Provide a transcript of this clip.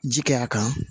Ji kɛr'a kan